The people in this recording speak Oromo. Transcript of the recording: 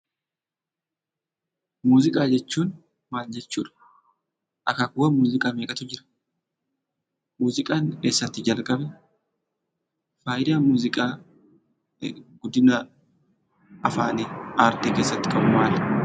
Muuziqaa jechuun maal jechuudha? Akaakuuwwan muuziqaa meeqatu jira? Muuziqaan eessatti jalqabe? Faayidaa muuziqaan guddina aartii afaanii keessatti qabu maali?